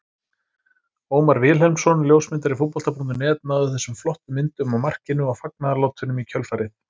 Ómar Vilhelmsson ljósmyndari Fótbolta.net náði þessum flottu myndum af markinu og fagnaðarlátunum í kjölfarið.